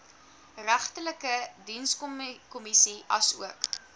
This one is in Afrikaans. regterlike dienskommissie asook